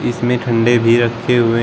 इसमें ठंडे भी रखे हुए हैं।